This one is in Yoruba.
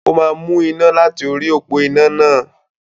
Ó máa mú iná láti orí òpó iná náà.